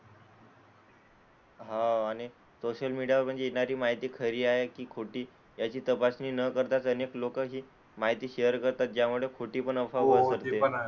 हां आणि सोशल मीडियावर येणारी माहिती खरी आहे की खोटी याची तपासणी न करताच, अनेक लोकं ही माहिती शेअर करतात ज्यामुळे खोटीपण अफवा पसरते.